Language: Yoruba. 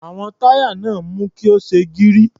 Àwọn táyà náà mú kí ó ṣe gírí.